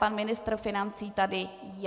Pan ministr financí tady je.